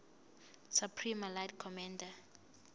supreme allied commander